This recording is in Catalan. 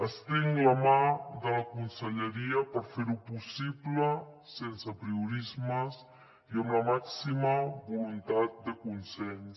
estenc la mà de la conselleria per fer ho possible sense apriorismes i amb la màxima voluntat de consens